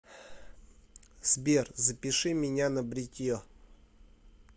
сбер запиши меня на бритье